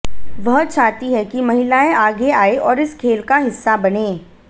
वह चाहती हैं कि महिलाएं आगे आएं और इस खेल का हिस्सा बनें